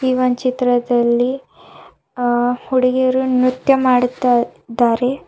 ಈ ಒಂದ್ ಚಿತ್ರದಲ್ಲಿ ಆ ಹುಡುಗಿಯರು ನೃತ್ಯ ಮಾಡುತ್ತಾ ಇದ್ದಾರೆ.